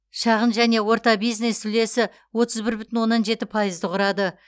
шағын және орта бизнес үлесі отыз бір бүтін оннан жеті пайызды құрады